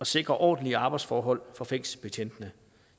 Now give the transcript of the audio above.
sikre ordentlige arbejdsforhold for fængselsbetjentene